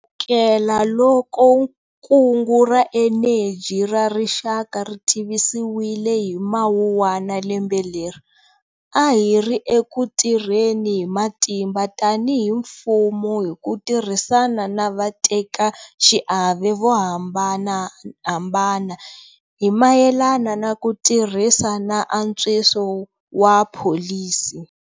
Kusukelaloko kungu ra eneji ra rixaka ri tivisiwile hi Mawuwana lembe leri, a hi ri eku tirheni hi matimba tanihi mfumo hi ku tirhisana na vatekaxiave vo hamba nahambana hi mayelana na ku tirhisa na antswiso wa pholisi.